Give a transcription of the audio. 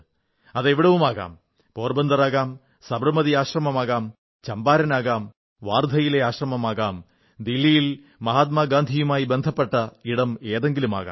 അത് എവിടവുമാകാം പോർബന്തറാകാം സബർമതി ആശ്രമമാകാം ചമ്പാരനാകാം വാർധയിലെ ആശ്രമമാകാം ദില്ലിയിൽ മഹാത്മാഗാന്ധിയുമായി ബന്ധപ്പെട്ട ഇടമേതെങ്കിലുമാകാം